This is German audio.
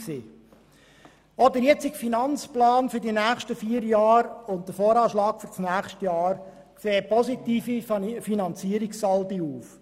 Auch der AFP für die nächsten vier Jahre und der VA für das nächste Jahr weisen positive Finanzierungssaldi aus.